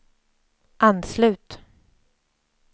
anslut